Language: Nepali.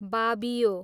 बाबियो